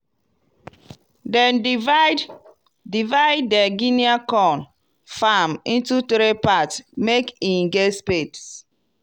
dem divide divide di guinea corn farm into three part make e get space.